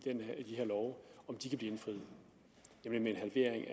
de kan blive indfriet nemlig en halvering